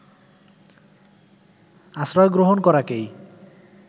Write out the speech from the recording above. আশ্রয় গ্রহণ করাকেই